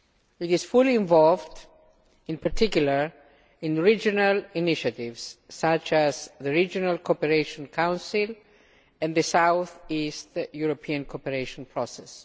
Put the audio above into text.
It is fully involved, in particular, in regional initiatives such as the Regional Cooperation Council and the South East European Cooperation Process.